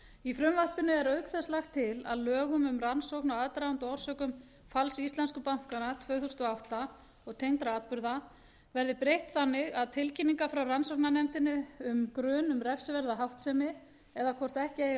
í frumvarpinu er auk þess lagt til að lögum um rannsókn á aðdraganda og orsökum falls íslensku bankanna tvö þúsund og átta og tengdra atburða verði breytt þannig að tilkynningar frá rannsóknarnefndinni um grun um refsiverða háttsemi eða hvort ekki eigi að